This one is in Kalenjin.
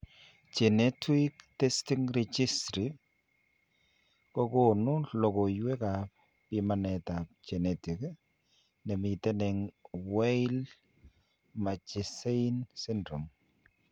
Genetuic testing regisry kokoonu logoywek ab bimanet ab genetic nemiten eng' Weill Marchesaini syndrome